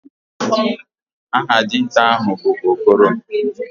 Aha dinta ahu bu Okoro.